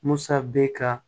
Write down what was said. Musa bɛ ka